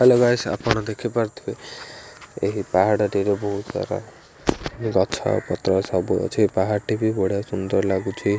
ହାଲେ guys ଆପଣ ଦେଖିପାରୁଥିବେ ଏହି ପାହାଡଟିରୁ ବହୁତ ସାର ଗଛପତ୍ର ସବୁ ଅଛି ପାହାଡ଼ଟି ବି ବଢିଆ ସୁନ୍ଦର ଲାଗୁଛି।